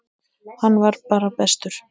Hann var bara bestur.